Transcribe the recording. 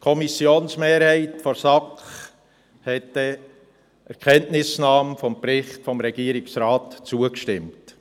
Die Kommissionsmehrheit der SAK hat denn einer Kenntnisnahme des Berichts des Regierungsrats zugestimmt.